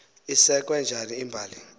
isekwe njani imbali